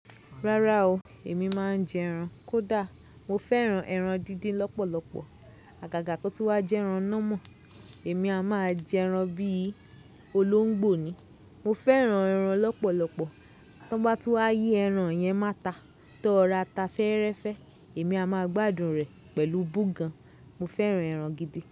Rárá o, èmi máa ń jẹ ẹran. Kódà mo fẹ́ran ẹran díndín lọ́pọ̀lọpọ̀. Àgàgà kí ó tun wá jẹ ẹran nà mọ̀, èmi a máa jẹ ẹran bí i olóńgbò ni. Mo fẹ́ran ẹran lọ́pọ̀lọpọ̀. Tán bá tún wá yí ẹran yẹn mo áta tó rora ta fẹ́rẹ́fẹ́, èmi a máa gbádùn rẹ̀ pẹ̀lú búgan. Mo fẹ́ran ẹran gidi.